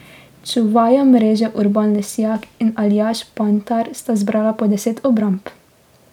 Čuvaja mreže Urban Lesjak in Aljaž Panjtar sta zbrala po deset obramb.